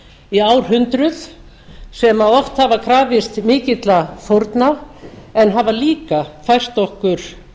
í árhundruð sem oft hafa krafist mikilla fórna en hafa líka fært okkur